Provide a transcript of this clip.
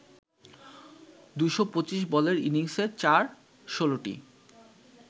২২৫ বলের ইনিংসে চার ১৬টি